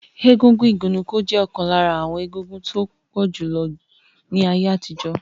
Egúngún igunnuko je okan lara awon egúngún to pojulo julo ni aye atijo.